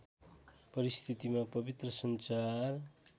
परिस्थितिमा पवित्र सञ्चार